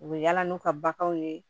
U bɛ yala n'u ka baganw ye